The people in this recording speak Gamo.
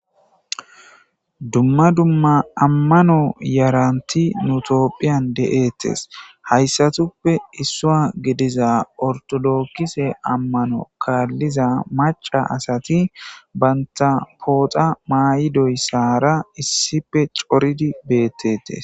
Dumma dumma ammano yarantti nu tophphiyan deetes. Hayssatuppe issuwa gidiza ortodokise ammano kaalliza macca asati banta pooxa mayidoyssara issippe coridi beetettes.